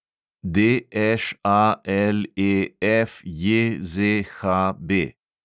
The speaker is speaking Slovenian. DŠALEFJZHB